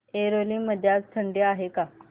ऐरोली मध्ये आज थंडी आहे का